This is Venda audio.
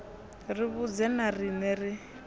ri vhudze na riṋe ri